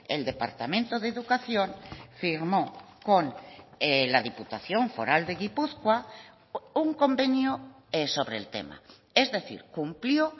el departamento de educación firmo con la diputación foral de gipuzkoa un convenio sobre el tema es decir cumplió